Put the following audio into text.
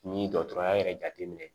N'i ye dɔgɔtɔrɔya yɛrɛ jateminɛ ye